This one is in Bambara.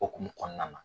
Okumu kɔnɔna na